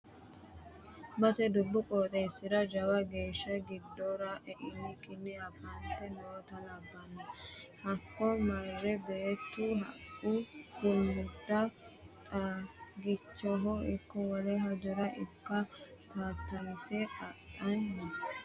Base dubbu qooxeesira jawa geeshsha giddora e'nikkinni afaafate nootta labbano hakko mare beettu haqqu rumudda xagichoho ikko wole hajora ikko tatayise adhani no.